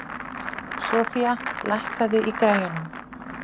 Sofía, lækkaðu í græjunum.